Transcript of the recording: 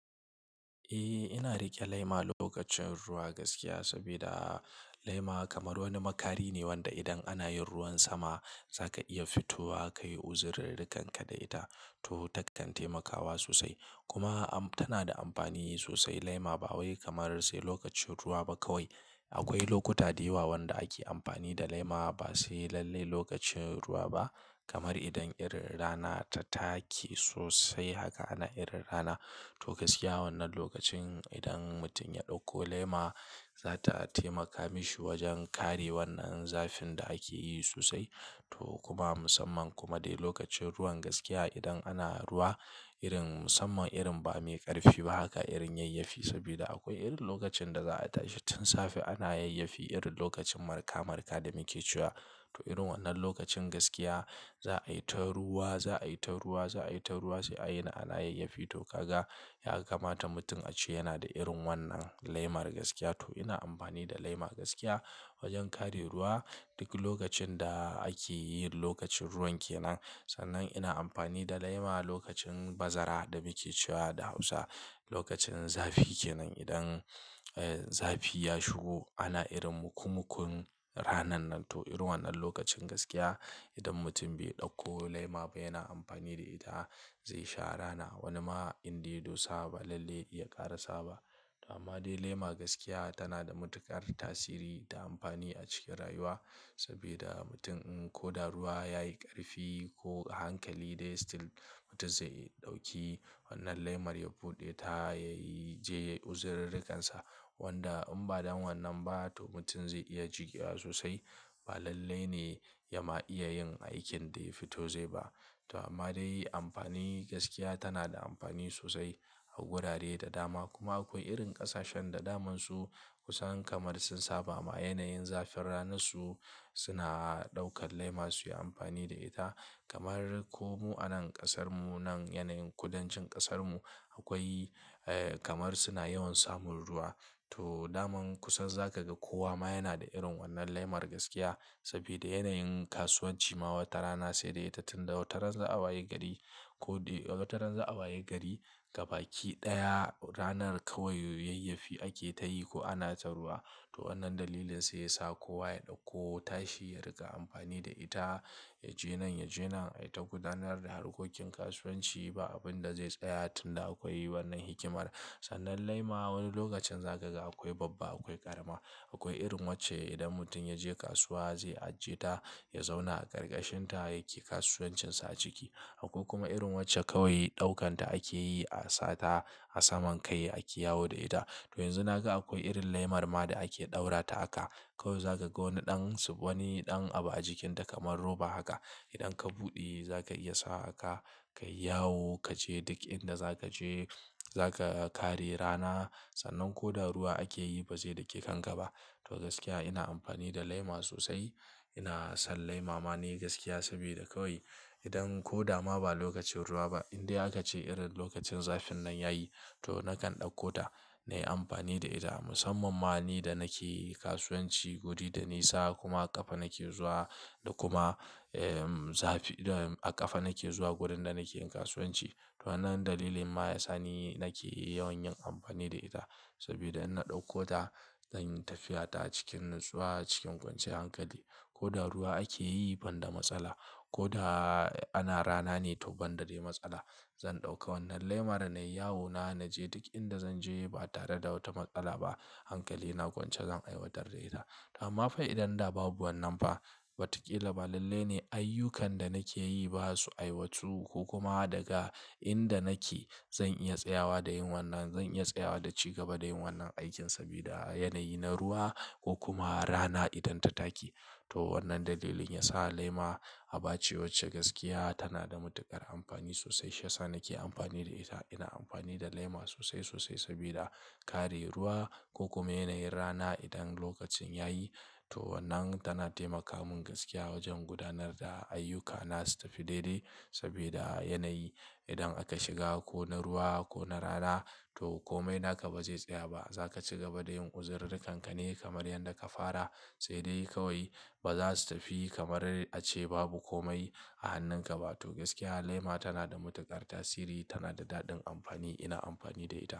Eh, ina riƙe laima lokacin ruwa gaskiya sabida laima kamar wani makari ne wanda idan ana yin ruwan sama za ka iya fito wa ka yi uzirar rikanka da ita to ta kan taimakawa sosai. Kuma am tana da amfani sosai laima ba wai kamar sai lokacin ruwa ba kawai. Akwai lokuta da yawa wanda ake amfani da laima ba sai lalle lokacin ruwa ba kamar idan irin rana ta take sosai haka ana irin rana. To gaskiya wannan lokacin idan mutum ya ɗauko laima za ta taimaka mishi wajen kare wannan zafin da ake yi sosai to kuma musamman kuma dai lokacin ruwan gaskiya idan ana ruwa irin musamman irin ba mai ƙarfi ba haka irin yayyafi sabida akwai irin lokacin da za a tashi tun safe ana yayyafi irin lokacin marka marka da muke cewa. To irin wannan lokacin gaskiya za a yi ta ruwa, za a yi ta ruwa, za a yi ta ruwa sai a yini ana yayyafi to ka ga ya kamata mutum a ce yana da irin wannan laimar gaskiya. To ina amfani da laima gaskiya wajen kare ruwa duk lokacin da ake yin lokacin ruwan ke nan. Sannan ina amfani da laima lokacin bazara da muke cewa da Hausa lokacin zafi ke nan idan, eh zafi ya shigo ana irin mukumukun ranan nan to irin wannan lokacin gaskiya idan mutum bai ɗauko laima ba yana amfani da ita zai sha rana. Wani ma in da ya dosa ba lalle ya ƙara saba. To amma dai laima gaskiya tana da matuƙar tasiri ta amfani a cikin rayuwa sabjda mutum in ko da ruwa ya yi ƙarfi ko hankali dai still mutum zai ɗauki wannan laimar ya buɗe ta ya yi je yayi uzirar rikansa wanda in ba dan wannan ba to mutum zai iya jikewa sosai ba lalle ne ya ma iya yin aikin da ya fito zai ba. To amma dai amfani gaskiya tana da amfani sosai a gurare da dama kuma akwai irin ƙasashen da damansu kusan kamar sun saba ma yanayin zafin ranansu suna ɗaukar laima su yi amfani da ita kamar ko mu a nan ƙasar mu nan yanayin kudancin ƙasar mu akwai kamar suna yawan samun ruwa. To daman kusan za ka ga kowa ma yana da irin wannan laimar gaskiya sabida yanayin kasuwanci ma wata rana sai da ita tun da wata ran za a wayi gari ko dai wata ran za a wayi gari gabaki ɗaya ranar kawai yayyafi ake ta yi ko ana ta ruwa. To wannan dalilin sai ya sa kowa ya ɗauko tashi ya riƙa amfani da ita ya je nan, ya je nan, ayi ta gudanar da harkokin kasuwanci ba abin da zai tsaya tun da akwai wannan hikimar. Sannan laima wani lokacin za ka ga akwai babba, akwai ƙarama. Akwai irin wacce idan mutum ya je kasuwa zai ajiye ta, ya zauna a ƙarƙashin ta yake kasuwancinsa a ciki. Akwai kuma irin wacce kawai ɗaukan ta ake yi a sa ta a saman kai ake yawo da ita. To yanzu na ga akwai irin laimar ma da ake ɗaura ta aka kawai za ka ga wani ɗan, wani ɗan abu a jikin ta kamar roba haka. Idan ka buɗe za ka iya sa wa aka ka yi yawo ka je duk inda za ka je. Za ka kare rana sannan ko da ruwa ake yi ba zai dake kanka ba. To gaskiya ina amfani da laima sosai. Ina son laima ma ni gaskiya sabida kawai idan ko da ma ba lokacin ruwa ba in dai aka ce irin lokacin zafin nan yayi to nakan ɗauko ta na yi amfani da ita musamman ma ni da nake kasuwanci guri da nisa kuma ƙafa nake zuwa da kuma, em zafi a ƙafa nake zuwa wurin da nake yin kasuwanci. To wannan dalilin ma ya sa ni nake yawan yin amfani da ita sabida in na ɗauko ta zan yi tafiya ta cikin natsuwa cikin kwanciyar hankali. Ko da ruwa ake yi ban da matsala, ko da ana rana ne to ban da dai matsala. Zan ɗauka wannan laimar na yi yawo na na je duk inda zan je ba tare da wata matsala ba. Hankali na kwance zan aiwatar da ita. To amma fa idan da babu wannan fa watakila ba lalle ne ayyukan da nake yi ba su aiwatu ko kuma daga inda nake zan iya tsayawa da yin wannan, zan iya tsayawa da ci gaba da yin wannan aikin sabida yanayi na ruwa ko kuma rana idan ta take. To wannan dalilin ya sa laima a bace wacce gaskiya tana da matuƙar amfani sosai. Shi ya sa nake amfani da ita. Ina amfani da laima sosai sosai sabida kare ruwa ko kuma yanayin rana idan lokacin yayi. To wannan tana taimaka mun gaskiya wajen gudanar da ayyukana su tafi daidai sabida yanayi idan aka shiga ko na ruwa ko na rana to komai naka ba zai tsaya ba. Za ka ci gaba da yin uzirar rikanka ne kamar yadda ka fara sai dai kawai ba za su tafi kamar a ce babu komai a hannun ka ba. To gaskiya laima tana da matuƙar tasiri, tana da daɗin amfani. Ina amfani da ita.